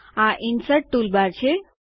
આ insert toolbar છે